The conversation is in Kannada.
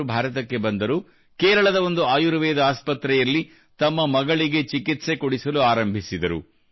ಅವರು ಭಾರತಕ್ಕೆ ಬಂದರು ಕೇರಳದ ಒಂದು ಆಯುರ್ವೇದ ಆಸ್ಪತ್ರೆಯಲ್ಲಿ ತಮ್ಮ ಮಗಳಿಗೆ ಚಿಕಿತ್ಸೆ ಕೊಡಿಸಲು ಆರಂಭಿಸಿದರು